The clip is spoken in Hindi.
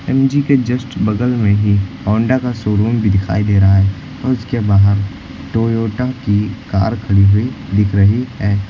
एम_जी के जस्ट बगल में ही होंडा का शोरूम भी दिखाई दे रहा है और उसके बाहर टोयोटा की कार खड़ी हुई दिख रही है।